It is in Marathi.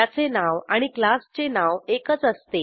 त्याचे नाव आणि क्लासचे नाव एकच असते